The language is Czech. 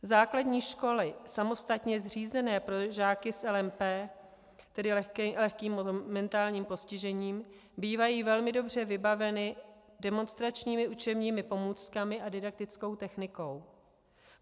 Základní školy samostatně zřízené pro žáky s LMP, tedy lehkým mentálním postižením, bývají velmi dobře vybavené demonstračními učebními pomůckami a didaktickou technikou.